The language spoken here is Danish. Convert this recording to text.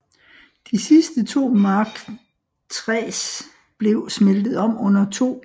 De sidste to Mark IIIs blev smeltet om under 2